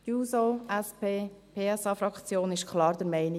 – Die SP-JUSO-PSA-Fraktion ist klar der Meinung: